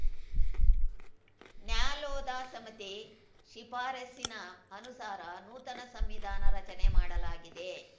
ನ್ಯಾಲೋಧಾ ಸಮಿತಿ ಶಿಫಾರಸಿನ ಅನುಸಾರ ನೂತನ ಸಂವಿಧಾನ ರಚನೆ ಮಾಡಲಾಗಿದೆ